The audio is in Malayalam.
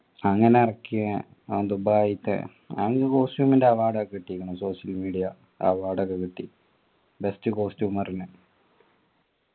അങ്ങനെ ഇറക്കിയ ഓൻ ദുബായ്ത്തെ അതിനു costume ൻ്റെ award ഒക്കെ കിട്ടിക്കുന്നു social media award ഒക്കെ കിട്ടി best costumer നു